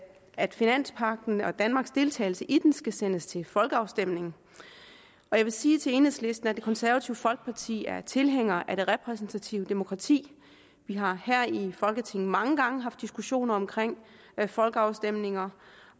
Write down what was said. at finanspagten og danmarks deltagelse i den skal sættes til folkeafstemning og jeg vil sige til enhedslisten at det konservative folkeparti er tilhænger af det repræsentative demokrati vi har her i folketinget mange gange haft diskussioner om folkeafstemninger